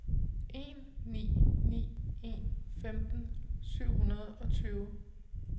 en ni ni en femten syv hundrede og tyve